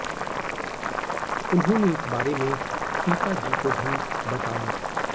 उन्होंने इस बारे में सीता जी को भी बताया